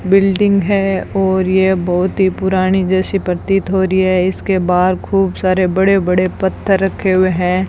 Building है और ये बहोत ही पुरानी जैसी प्रतीत हो रही है इसके बाहर खूब सारे बड़े बड़े पत्थर रखे हुए हैं।